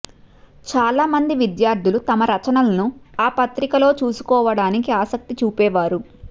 చాలామంది విద్యార్థులు తమ రచనలను ఆ పత్రికలో చూసుకోవటానికి ఆసక్తి చూపేవారు